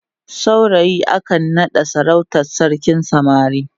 saurayi akan naɗawa sarautar sarkin samari